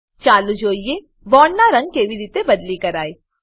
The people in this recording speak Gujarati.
ચાલો જોઈએ બોન્ડોનાં રંગ કેવી રીતે બદલી કરાય છે